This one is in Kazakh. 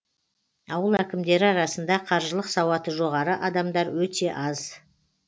ауыл әкімдері арасында қаржылық сауаты жоғары адамар өте аз